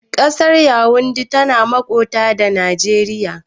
Ƙasar yawundi tana makota da Nageriya